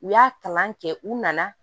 U y'a kalan kɛ u nana